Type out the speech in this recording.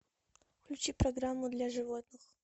включи программу для животных